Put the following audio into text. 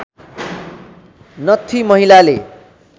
नत्थी महिलाले